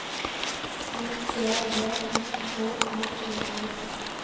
U T V I K L E R